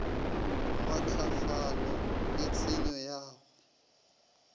kgwahlafalo le tshenyo ya go